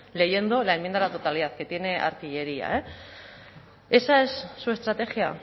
leyendo la enmienda a la totalidad que tiene artillería eh esa es su estrategia